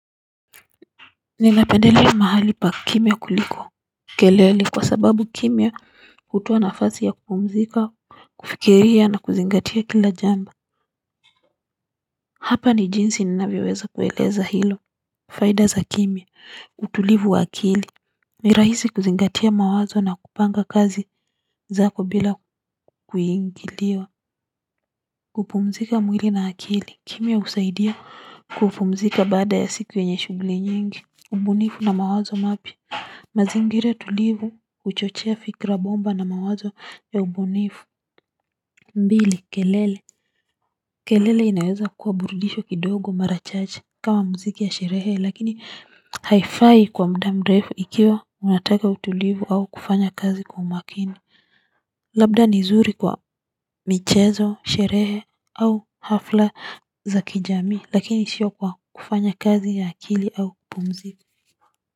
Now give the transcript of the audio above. Ninapendelea mahali pa kimya kuliko kelele kwa sababu kimya hutoa nafasi ya kupumzika kufikiria na kuzingatia kila jambo. Hapa ni jinsi ninavyoweza kueleza hilo faida za kimya utulivu wa akili ni rahisi kuzingatia mawazo na kupanga kazi zako bila kuingiliwa. Kupumzika mwili na akili kimya husaidia kupumzika baada ya siku yenye shughuli nyingi ubunifu na mawazo mapya mazingira tulivu huchochea fikra bomba na mawazo ya ubunifu mbili kelele. Kelele inaweza kuwa burudisho kidogo mara chache kama muziki ya sherehe lakini haifqi kwa muda mrefu ikiwa unataka utulivu au kufanya kazi kwa umakini labda ni zuri kwa michezo sherehe au hafla za kijamii lakini sio kwa kufanya kazi ya akili au kupumzika.